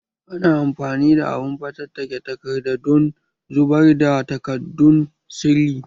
Ana amfani da abun fatattake takardadon zubar da takaddun sirri